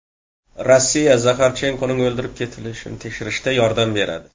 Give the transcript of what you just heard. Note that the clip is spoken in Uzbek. Rossiya Zaxarchenkoning o‘ldirib ketilishini tekshirishda yordam beradi.